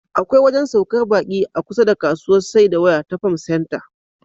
Akwai wajen saukar baƙi a kusa da kasuwar saida waya ta Farm Center.